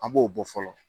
An b'o bɔ fɔlɔ